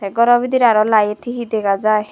tey goro bidiredi aro light hi hi dega jai.